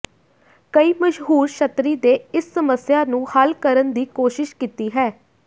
ਕਈ ਮਸ਼ਹੂਰ ਛਤਰੀ ਦੇ ਇਸ ਸਮੱਸਿਆ ਨੂੰ ਹੱਲ ਕਰਨ ਦੀ ਕੋਸ਼ਿਸ਼ ਕੀਤੀ ਹੈ